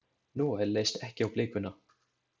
Noel leist ekki á blikuna.